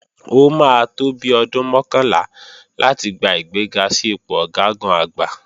Ó máa tó bi ọdún mọ́kànlá láti gba ìgbéga sí ipò Ọ̀gágun-Àgbá